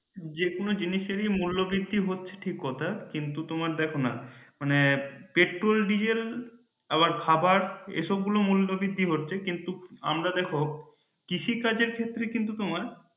যেকোনো জিনিসেরই মূল্য বৃদ্ধি হচ্ছে ঠিক কথা কিন্তু তোমার দেখো না মানে পেট্রোল ডিজেল আবার খাবার এসব গুলো মূল্য বৃদ্ধি হচ্ছে কিন্তু আমরা দেখো কৃষি কাজের ক্ষেত্রে কিন্তু তোমার